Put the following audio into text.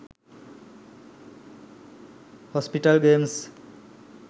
hospital games